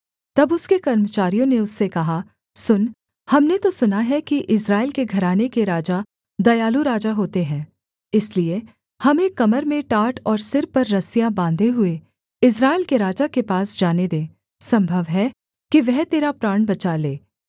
तब उसके कर्मचारियों ने उससे कहा सुन हमने तो सुना है कि इस्राएल के घराने के राजा दयालु राजा होते हैं इसलिए हमें कमर में टाट और सिर पर रस्सियाँ बाँधे हुए इस्राएल के राजा के पास जाने दे सम्भव है कि वह तेरा प्राण बचा ले